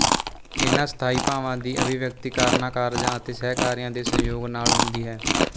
ਇਨ੍ਹਾਂ ਸਥਾਈ ਭਾਵਾਂ ਦੀ ਅਭਿਵਿਅਕਤੀ ਕਾਰਣਾਂਕਾਰਜਾ ਅਤੇ ਸਹਿਕਾਰੀਆਂ ਦੇ ਸੰਯੋਗ ਨਾਲ ਹੁੰਦੀ ਹੈ